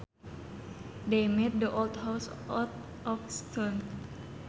They made the old house out of stone